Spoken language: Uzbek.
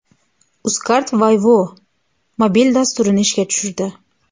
Uzcard Woy-wo‘ mobil dasturini ishga tushirdi.